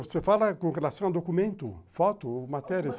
Você fala com relação ao documento, foto, matéria?